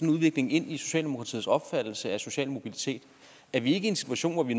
udvikling ind i socialdemokratiets opfattelse af social mobilitet er vi ikke i en situation hvor vi